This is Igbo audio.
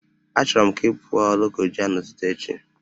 Achọrọ m ka ị pụọ Lokoja n'ụtụtụ echi!